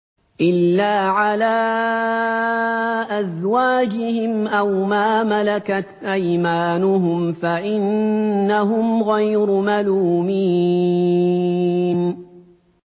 إِلَّا عَلَىٰ أَزْوَاجِهِمْ أَوْ مَا مَلَكَتْ أَيْمَانُهُمْ فَإِنَّهُمْ غَيْرُ مَلُومِينَ